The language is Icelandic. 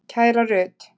Kæra Rut.